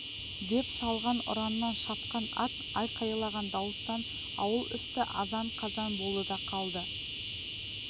деп салған ұраннан шапқан ат айқайлаған дауыстан ауыл үсті азан-қазан болды да қалды